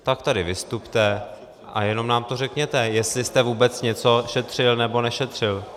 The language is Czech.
Tak tady vystupte a jenom nám to řekněte, jestli jste vůbec něco šetřil, nebo nešetřil.